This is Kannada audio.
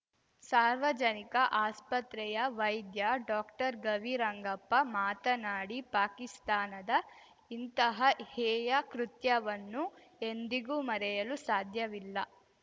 ಸಾರ್ವಜನಿಕ ಆಸ್ಪತ್ರೆಯ ವೈದ್ಯ ಡಾಕ್ಟರ್ಗವಿರಂಗಪ್ಪ ಮಾತನಾಡಿ ಪಾಕಿಸ್ತಾನದ ಇಂತಹ ಹೇಯ ಕೃತ್ಯವನ್ನು ಎಂದಿಗೂ ಮರೆಯಲು ಸಾಧ್ಯವಿಲ್ಲ